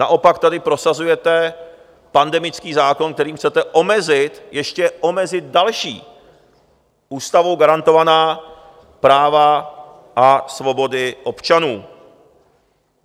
Naopak tady prosazujete pandemický zákon, kterým chcete omezit, ještě omezit, další ústavou garantovaná práva a svobody občanů.